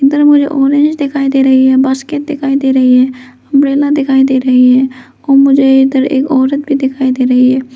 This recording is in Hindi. उधर मुझे ऑरेंज दिखाई दे रही है बास्केट दिखाई दे रही है अंब्रेला दिखाई दे रही है और मुझे इधर एक औरत भी दिखाई दे रही है।